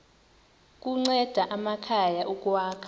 kunceda amakhaya ukwakha